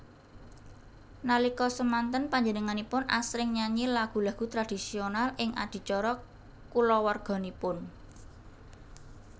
Nalika semanten panjenenganipun asring nyanyi lagu lagu tradisional ing adicara kulawarginipun